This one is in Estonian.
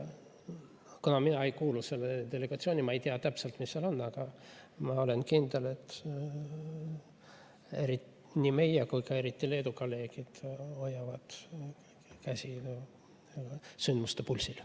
Kuna mina ei kuulu sellesse delegatsiooni, siis ma ei tea täpselt, mis seal on, aga ma olen kindel, et nii meie kui ka eriti Leedu kolleegid hoiavad kätt sündmuste pulsil.